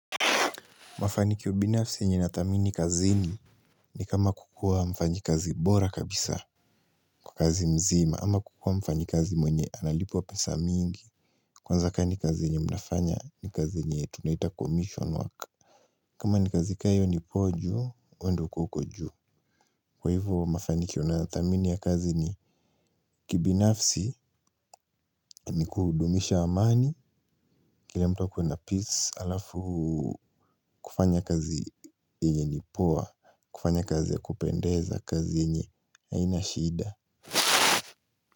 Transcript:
Mafanikio binafsi yenye nathamini kazini ni kama kukuwa mfanyikazi bora kabisa kwa kazi mzima ama kukuwa mfanyikazi mwenye analipwa pesa mingi kwanza ka ni kazi yenye mnafanya ni kazi yenye tunaita commission work. Kama ni kazi ka hiyo ni poa juu, we ndo uko juu. Kwa hivyo mafanikio nathamini ya kazi ni kibinafsi ni kudumisha amani. Kile mtu akuwe na peace halafu kufanya kazi yenye ni poa. Kufanya kazi ya kupendeza kazi yenye haina shida.